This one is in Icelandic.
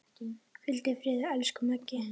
Hvíldu í friði, elsku Maggi.